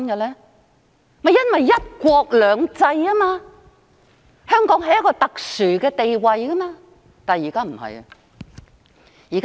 正是因為"一國兩制"，香港有一個特殊的地位，但現在不是了。